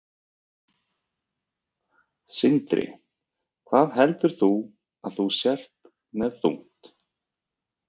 Sindri: Hvað heldur þú að þú sért með þungt?